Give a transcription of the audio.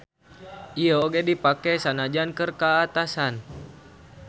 Ieu oge dipake sanajan keur ka atasan.